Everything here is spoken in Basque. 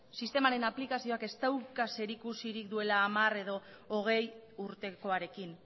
sistemaren aplikazioak ez dauka zerikusik duela hamar edo hogei urtekoarekin